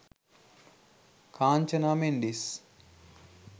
kanchana mendis